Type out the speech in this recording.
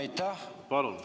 Suur aitäh!